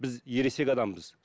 біз ересек адамбыз